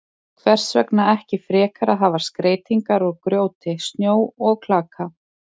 Hvers vegna ekki frekar að hafa skreytingar úr grjóti, snjó og klaka?